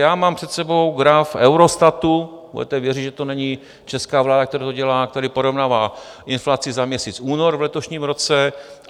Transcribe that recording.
Já mám před sebou graf Eurostatu - budete věřit, že to není česká vláda, která to dělá - který porovnává inflaci za měsíc únor v letošním roce.